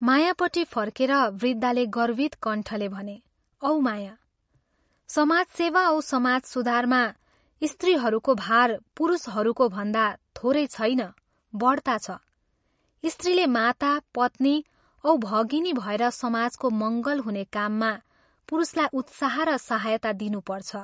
मायापट्टि फर्केर वृद्धले गर्वित कण्ठले भने " औ माया, समाजसेवा औ समाज सुधारमा स्त्रीहरूको भार पुरुषहरूको भन्दा थोरै छैन बढ्ता छ, स्त्रीले माता, पत्नी औ भगिनी भएर समाजको मंगल हुने काममा पुरुषलाई उत्साह र सहायता दिनुपर्छ।